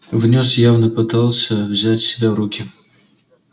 внёс явно пытался взять себя в руки